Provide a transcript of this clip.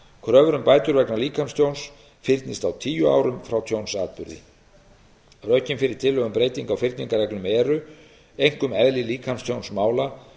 kröfur um bætur vegna líkamstjóns fyrnist á tíu árum frá tjónsatburði rökin fyrir tillögu um breytingu á fyrningarreglum eru einkum eðli líkamstjónsmála og